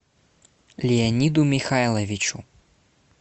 леониду михайловичу